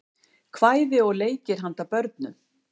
kvæði og leikir handa börnum